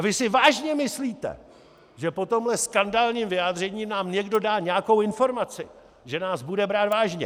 A vy si vážně myslíte, že po tomhle skandálním vyjádření nám někdo dá nějakou informaci, že nás bude brát vážně?